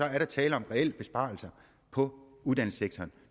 er der tale om reelle besparelser på uddannelsessektoren